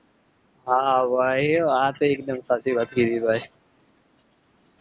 હા ભાઈ હા વાત તો એક્દુમ સાચી વાત કીધી ભાઈ.